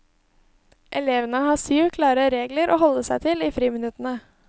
Elevene har syv klare regler å holde seg til i friminuttene.